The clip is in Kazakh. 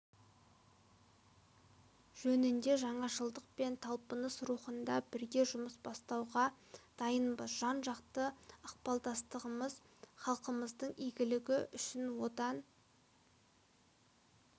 жөнінде жаңашылдық пен талпыныс рухында бірге жұмыс бастауға дайынбыз жан-жақты ықпалдастығымыз халықтарымыздың игілігі үшін одан